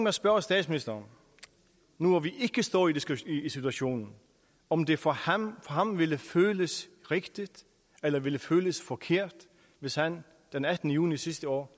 at spørge statsministeren nu hvor vi ikke står i i situationen om det for ham ville føles rigtigt eller ville føles forkert hvis han den attende juni sidste år